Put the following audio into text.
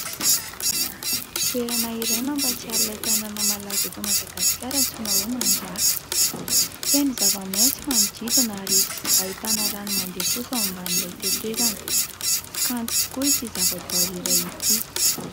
Toerana iray mampatsiaro ilay tanàna malaza eto Madagasikara antsoina hoe Mandraka. Feno zava-maitso manodidina ary ahitana rano mandeha kosa ao ambanin'ilay tetezana. Kanto tokoa ity zava-boahary iray ity.